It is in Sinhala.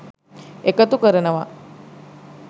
එකතු කරනවා.